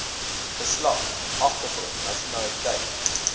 geslag agtergrond nasionaliteit